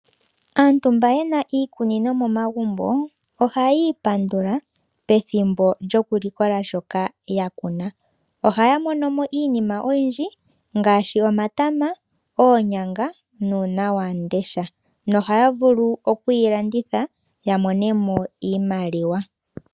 Aantu mba yena iikunino momagumbo oha yi ipandula pethimbo lyokulikola shoka ya kuna. Oha ya mono mo iinima oyindji ngaashi omatama, oonyanga nuunawandesha. Nohaya vulu okwiilanditha ya mone mo iimaliwa.